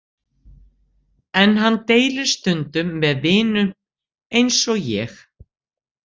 En hann deilir stundum með vinum, eins og ég.